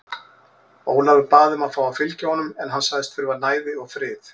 Ólafur bað um að fá að fylgja honum en hann sagðist þurfa næði og frið.